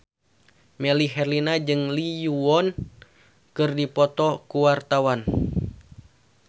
Melly Herlina jeung Lee Yo Won keur dipoto ku wartawan